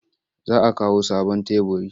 Za a kawo sabon teburi.